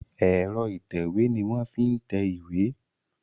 Ẹ̀rọ ìtẹ̀wé ni wọ́n ń fi tẹ ìwé.